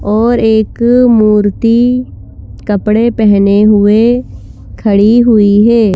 और एक मूर्ति कपड़े पहने हुए खड़ी हुई है।